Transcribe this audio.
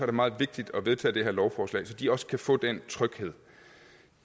det meget vigtigt at vedtage det her lovforslag så de også kan få den tryghed